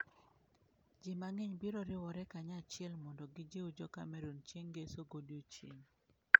Ji mang'eny biro riwore kanyachiel mondo gijiw Jo Cameroon chieng ngeso godiechieng .